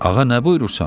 Ağa, nə buyurursan?